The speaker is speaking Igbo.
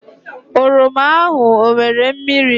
oroma ahụ ọ nwere mmiri